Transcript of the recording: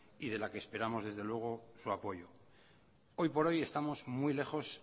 y de la que esperamos desde luego su apoyo hoy por hoy estamos muy lejos